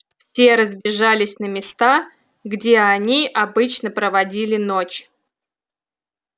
все разбежались на места где они обычно проводили ночь